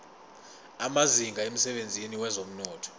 amazinga emsebenzini wezomnotho